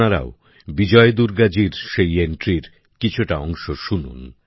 আপনারাও বিজয় দুর্গাজী সেই এন্ট্রির কিছুটা অংশ শুনুন